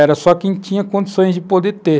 Era só quem tinha condições de poder ter.